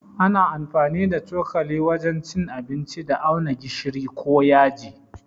Ana amfani da cokali wajen cin abinci da auna gishiri ko yaji.